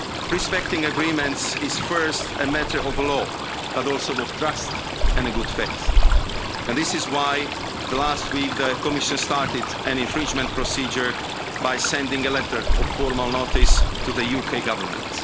Respecting agreements is first a matter of law, but also of trust and of good faith, and this is why last week the Commission started an infringement procedure by sending a letter of formal notice to the UK Government.